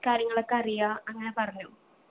കാര്യങ്ങളൊക്കെ അറിയാ അങ്ങനെ പറഞ്ഞു